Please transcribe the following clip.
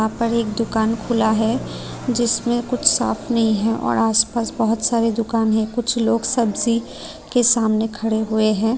यहां पर एक दुकान खुला है जिसमें कुछ शाप नहीं है और आसपास बहुत सारे दुकान है कुछ लोग सब्जी के सामने खड़े हुए हैं।